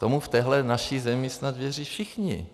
Tomu v téhle naší zemi snad věří všichni.